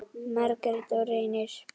Margrét og Reynir.